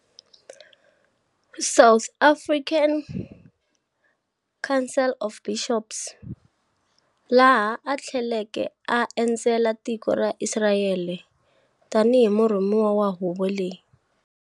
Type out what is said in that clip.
South African Council of Bishops, laha athleleke a endzela tiko ra Israyele tani himurhumiwa wa huvo leyi.